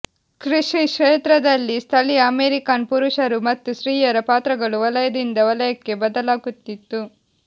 ಕೃಷಿ ಕ್ಷೇತ್ರದಲ್ಲಿ ಸ್ಥಳೀಯ ಅಮೆರಿಕನ್ ಪುರುಷರು ಮತ್ತು ಸ್ತ್ರೀಯರ ಪಾತ್ರಗಳು ವಲಯದಿಂದ ವಲಯಕ್ಕೆ ಬದಲಾಗುತ್ತಿತ್ತು